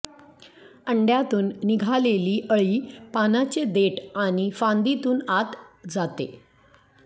अंड्यातुन निघालेली अळी पानाचे देठ आणी फांदीतुन आत जाते